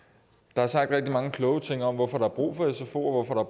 der er sagt rigtig mange kloge ting om hvorfor der er brug for sfoer og